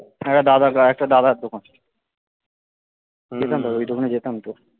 একটা দাদা একটা দাদার দোকান যেতাম তো ওই দোকানে যেতাম তো